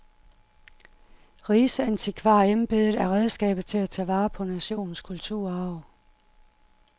Rigsantikvarembedet er redskabet til at tage vare på nationens kulturarv.